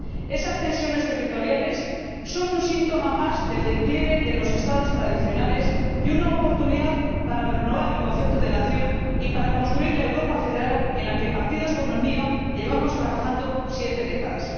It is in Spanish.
Esas tensiones territoriales son un síntoma más del declive de los Estados tradicionales y una oportunidad para renovar el concepto de nación y para construir la Europa federal en la que partidos como el mío llevamos trabajando siete décadas.